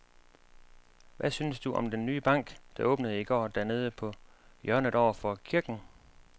Hvad synes du om den nye bank, der åbnede i går dernede på hjørnet over for kirken?